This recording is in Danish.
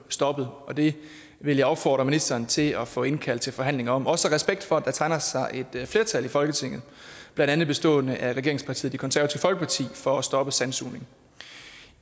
stoppet og det vil jeg opfordre ministeren til at få indkaldt til forhandling om også af respekt for at der tegner sig et flertal i folketinget blandt andet bestående af regeringspartiet det konservative for at stoppe sandsugning